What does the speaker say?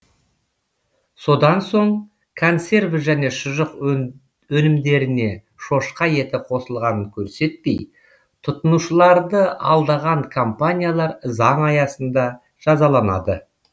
содан соң консерві және шұжық өнімдеріне шошқа еті қосылғанын көрсетпей тұтынушыларды алдаған компаниялар заң аясында жазаланады